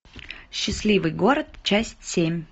счастливый город часть семь